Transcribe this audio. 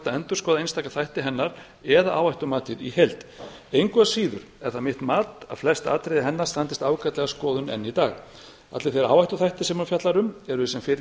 endurskoða einstaka þætti hennar eða áhættumatið í heild engu að síður er það mitt mat að flest atriði hennar standist ágætlega skoðun enn í dag allir þeir áhættuþættir sem hún fjallar um eru í senn í